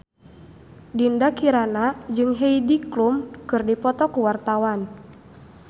Dinda Kirana jeung Heidi Klum keur dipoto ku wartawan